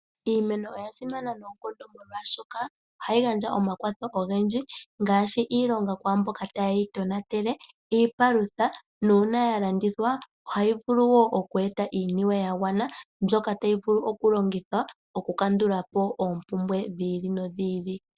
Iimeno oya simana noonkondo molwaashoka ohayi gandja omakwatho ogendji, ngaashi: iilonga kwaamboka tayeyi tonatele, iipalutha, nuuna ya landithwa ohayi vulu wo oku eta iiniwe ya gwana ndyoka tayi vulu okulongithwa okukandula po oopumbwe dhi ili nodhi ili.